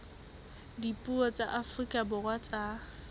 dipuo tsa afrika borwa tsa